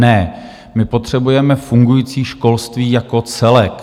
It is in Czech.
Ne, my potřebujeme fungující školství jako celek.